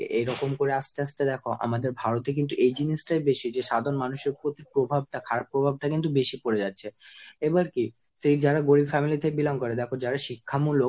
এরকম করে আস্তে আস্তে দেখো আমাদের ভারতে কিন্তু এই জিনিসটাই বেশি যে সাধারণ মানুষের প্রতি প্রভাবটা, খারাপ প্রভাবটা কিন্তু বেশি পড়ে যাচ্ছে। এবার কি সেই যারা গরীব family থেকে belong করে দেখ যারা শিক্ষামূলক